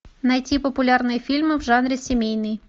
найти популярные фильмы в жанре семейный